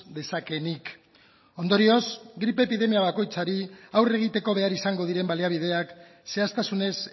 dezakeenik ondorioz gripe epidemia bakoitzari aurre egiteko behar izango diren baliabideak zehaztasunez